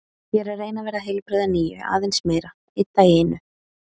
Ég er að reyna að verða heilbrigð að nýju, aðeins meira, einn dag í einu.